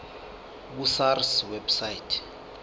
ku sars website